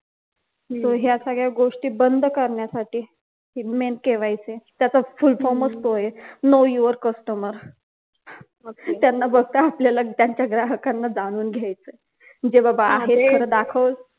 तो ह्या सगळ्या गोष्टी बंद करण्यासाठी हि mainKYC आहे त्याचा full form च तो आहे no your customer त्यांना फक्त आपल्याला त्यांच्या ग्राहकांबद्दल जाणून घायचय जेव्हा आहे